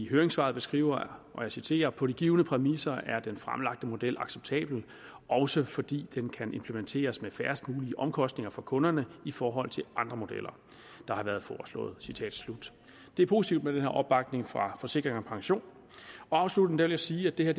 høringssvar skriver og jeg citerer på de givne præmisser er den fremlagte model acceptabel også fordi den kan implementeres med færrest mulige omkostninger for kunderne i forhold til andre modeller der har været foreslået citat slut det er positivt med den her opbakning fra forsikring pension afsluttende vil jeg sige at det her